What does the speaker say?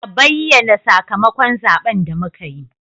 A bayyana sakamakon zaben da muka yi.